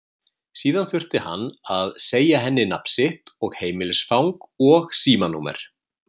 Síðan þurfti hann að segja henni nafn sitt og heimilisfang og símanúmer.